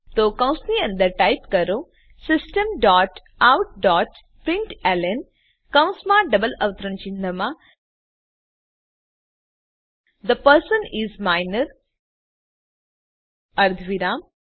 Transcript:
તો કૌંસની અંદર ટાઈપ કરો system dot out dot println કૌંસમાં ડબલ અવતરણ ચિહ્નમાં થે પર્સન ઇસ માઇનર અર્ધવિરામ